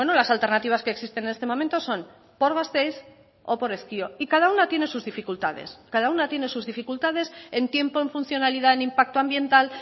las alternativas que existen en este momento son por gasteiz o por ezkio y cada una tiene sus dificultades cada una tiene sus dificultades en tiempo en funcionalidad en impacto ambiental